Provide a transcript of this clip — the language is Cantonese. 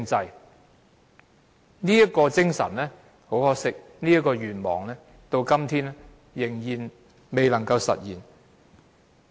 很可惜，這種精神和這個願望到今天仍然未能夠實現。